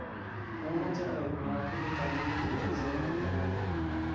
momoche oib mwavulit amun kituitosi ak robta raini